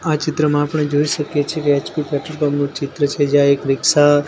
આ ચિત્રમાં આપણે જોઈ શકીએ છે એચ_પી પેટ્રોલ પંપ નુ ચિત્ર છે જ્યાં એક રિક્ષા --